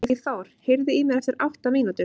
Eyþór, heyrðu í mér eftir átta mínútur.